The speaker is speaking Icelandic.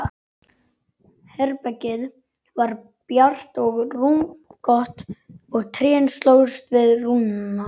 Herbergið var bjart og rúmgott og trén slógust við rúðuna.